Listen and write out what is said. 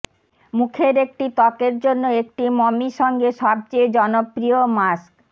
মুখের একটি ত্বকের জন্য একটি মমি সঙ্গে সবচেয়ে জনপ্রিয় মাস্ক